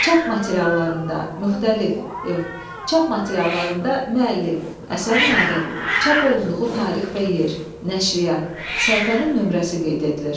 Çap materiallarında müxtəlif, yox, çap materiallarında müəllif, əsərin adı, çap olunduğu tarix və yer, nəşriyyat, səhifənin nömrəsi qeyd edilir.